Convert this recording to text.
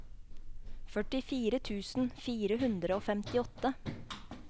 førtifire tusen fire hundre og femtiåtte